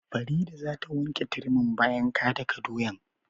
Farida za ta wanke turmin bayan ka daka doyan.